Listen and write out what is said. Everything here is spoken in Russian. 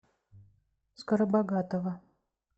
скоробогатова